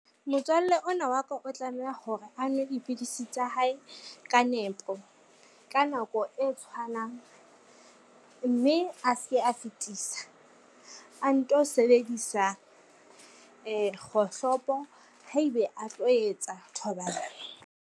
Motswalle ona wa ka o tlameha hore a nwe dipidisi tsa hae ka nepo, ka nako e tshwanang mme a ske a fetisa. A nto sebedisa kgohlopo haebe a tlo etsa thobalano.